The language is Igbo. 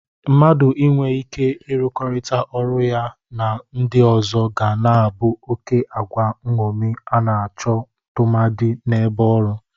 Mmadụ inwe ike ịrụkọrịta ọrụ ya na ndị ọzọ ga na-abụ oke agwa nñomi a na-achọ tụmadị n'ebe ọrụ.